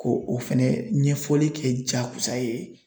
Ko o fɛnɛ ɲɛfɔli kɛ jagosa ye